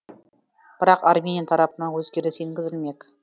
бірақ армения тарапынан өзгеріс енгізілмек